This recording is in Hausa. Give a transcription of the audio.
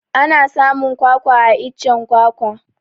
Ana samun kwakwa a iccen kwakwa